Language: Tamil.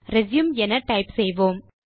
ரெச்யூம் என டைப் செய்வோம்